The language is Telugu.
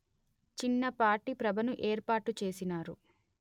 చిన్నపాటి ప్రభను ఏర్పాటుచేసినారు